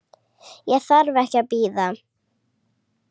Ég þarf ekki að bíða.